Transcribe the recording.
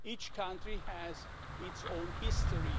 each country has its own history.